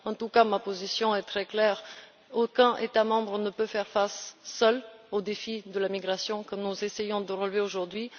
En tout cas, ma position est très claire aucun État membre ne peut faire face, seul, au défi de la migration que nous essayons de relever aujourd'hui.